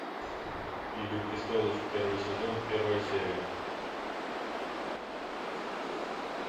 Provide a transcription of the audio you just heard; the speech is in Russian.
игры престолов первый сезон первая серия